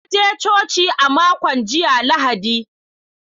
Na je coci a makon jiya Lahadi.